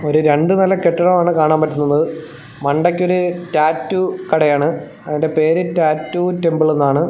ഒരു രണ്ട് നില കെട്ടിടമാണ് കാണാൻ പറ്റുന്നത് മണ്ടയ്ക്ക് ഒരു ടാറ്റൂ കടയാണ് അതിൻ്റെ പേര് ടാറ്റൂ ടെമ്പിൾ എന്നാണ്.